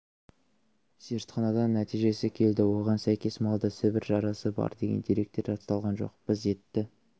зертханадан нәтижесі келді оған сәйкес малда сібір жарасы бар деген деректер расталған жоқ біз етті